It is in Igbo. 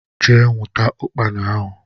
Jee nwụta ukpana ahụ!!